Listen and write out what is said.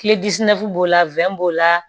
b'o la b'o la